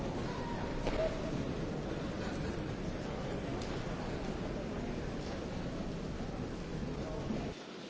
Mesdames et Messieurs les députés, chers collègues, il est de coutume